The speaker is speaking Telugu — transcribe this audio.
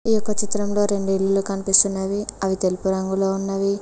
ఈ యొక్క చిత్రంలో రెండు ఇల్లులు కనిపిస్తున్నవి అవి తెలుపు రంగులో ఉన్నవి.